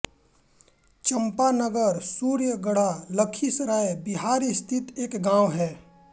चंपानगर सूर्यगढा लखीसराय बिहार स्थित एक गाँव है